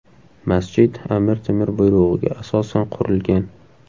Masjid Amir Temur buyrug‘iga asosan qurilgan.